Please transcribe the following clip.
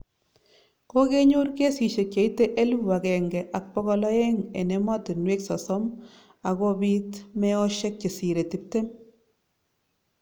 Kokenyor kesisiek cheite elfu agenge ak bokol aeng' en emotinwek sosom ako biit meosiek chesire tiptem